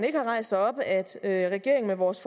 ikke har rejst sig op at at regeringen med vores